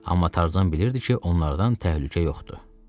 Amma Tarzan bilirdi ki, onlardan təhlükə yoxdur.